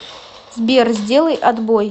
сбер сделай отбой